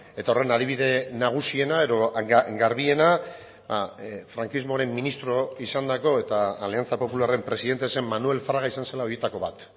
eta horren adibide nagusiena edo garbiena frankismoaren ministro izandako eta aliantza popularren presidente zen manuel fraga izan zela horietako bat